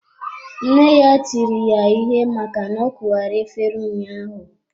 Nne ya tiri ya ihe maka na ọ kuwara efere ụnyaahụ.